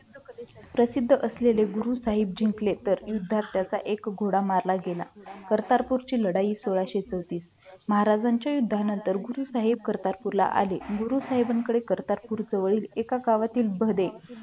प्रसिद्ध असलेले गुरु साहेब जिंकले तर युद्धात त्यांचा एक घोडा मारण्यात गेला करतारपूर ची लढाई सोळाशे चौतीस महाराजांच्या युद्धानंतर गुरु साहेब करतात गुरु साहेबांकडे एका गावातील भदे